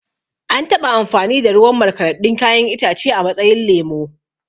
An taɓa amfani da ruwan markaɗaɗɗun kayan itace a matsayin lemo